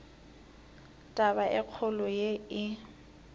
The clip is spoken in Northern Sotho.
taba e kgolo ye e